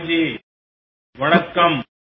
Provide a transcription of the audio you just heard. மாரியப்பன் அவர்களே வணக்கம்